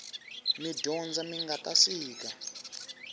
midyondza mingata sika